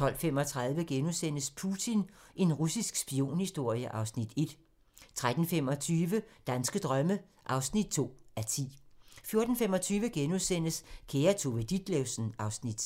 12:35: Putin – en russisk spionhistorie (Afs. 1)* 13:25: Danske drømme (2:10) 14:25: Kære Tove Ditlevsen (Afs. 6)*